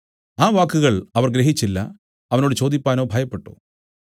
ആ വാക്കുകൾ അവർ ഗ്രഹിച്ചില്ല അവനോട് ചോദിപ്പാനോ ഭയപ്പെട്ടു